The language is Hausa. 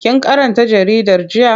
Kin karanta jaridar jiya?